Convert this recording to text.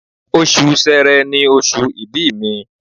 Oṣù Sẹrẹ ni oṣù ìbí mi